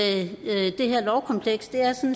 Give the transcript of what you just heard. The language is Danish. det her lovkompleks er